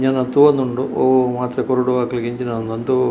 ಎನನ್ ತೂವೊಂದುಂಡು ಒವು ಮಾತ್ರೆ ಕೊರೊಡೂ ಅಕ್ಲೆಗ್ ಎಂಚಿನ ಅನ್ನೊಂದೂ--